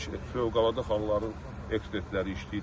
Fövqəladə halların ekspertləri işləyirlər.